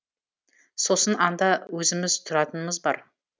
сосын анда өзіміз тұратынымыз бар